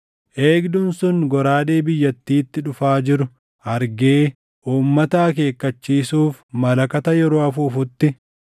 eegduun sun goraadee biyyattiitti dhufaa jiru argee uummata akeekkachiisuuf malakata yeroo afuufutti,